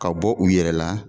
Ka bɔ u yɛrɛ la